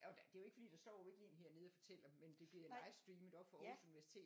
Det jo ikke fordi der står jo ikke lige en her nede og fortæller dem men det bliver livestreamet oppe fra Aarhus Universitet